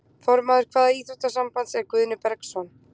Formaður hvaða íþróttasambands er Guðni Bergsson?